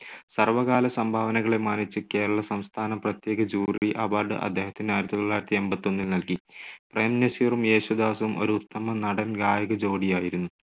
സർവ്വകാല സംഭാവനകളെ മാനിച്ച് കേരളസംസ്ഥാന പ്രത്യേക jury award അദ്ദേഹത്തിന് ആയിരത്തി തൊള്ളായിരത്തി എൺപത്തൊന്നിൽ നൽകി. പ്രേം നസീറും യേശുദാസും ഒരു ഉത്തമ നടൻ ഗാ‍യക ജോഡിയായിരുന്നു.